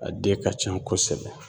A den ka can kosɛbɛ